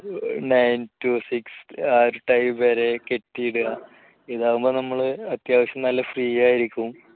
nine to six ആ ഒരു time വരെ കെട്ടിയിടുക ഇതാവുമ്പോ നമ്മള് അത്യാവശ്യ നല്ല free ആയിരിക്കും